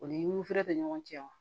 O nifeere tɛ ɲɔgɔn cɛn